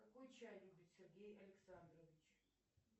какой чай любит сергей александрович